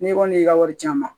N'i kɔni y'i ka wari ci a ma